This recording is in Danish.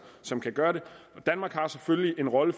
som kan gøre det og danmark har selvfølgelig den rolle